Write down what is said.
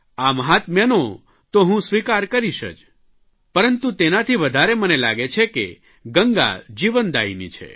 આ મહાત્મ્યને તો હું સ્વીકાર કરીશ જ પરંતુ તેનાથી વધારે મને લાગે છે કે ગંગા જીવનદાયિની છે